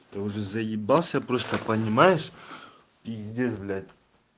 ты уже заибался просто понимаешь пиздец блять